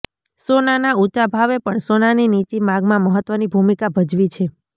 સોનાના ઊંચા ભાવે પણ સોનાની નીચી માગમાં મહત્ત્વની ભૂમિકા ભજવી છે